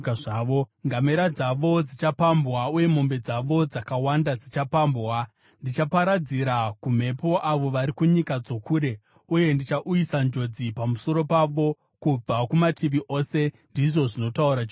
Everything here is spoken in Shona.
Ngamera dzavo dzichapambwa, uye mombe dzavo dzakawanda dzichapambwa. Ndichaparadzira kumhepo avo vari kunyika dzokure, uye ndichauyisa njodzi pamusoro pavo kubva kumativi ose,” ndizvo zvinotaura Jehovha.